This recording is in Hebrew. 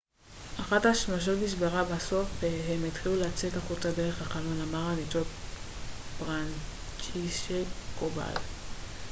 אחת השמשות נשברה בסוף והם התחילו לצאת החוצה דרך החלון אמר הניצול פרנצ'ישק קובאל